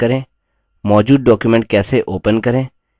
मौजूद document कैसे open करें